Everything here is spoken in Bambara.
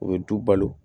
U bɛ du balo